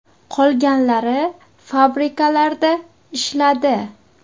Qolganlari fabrikalarda ishladi.